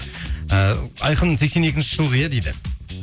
ыыы айқын сексен екінші жылғы иә дейді